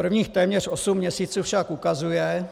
Prvních téměř osm měsíců však ukazuje,